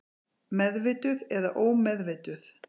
Meðvituð eða ómeðvituð.